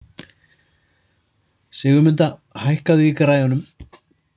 Sigurmunda, hækkaðu í græjunum.